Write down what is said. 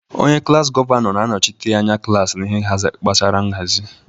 Onye klaasị gọvanọ na-anọchite anya klaasị n'ihe gbasara nhazi.